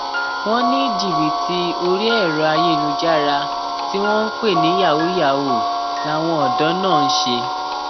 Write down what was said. wọn ní jìbìtì orí ẹrọ ayélujára tí wọn ń pè ní yahoo yahoo làwọn ọdọ náà ń ṣe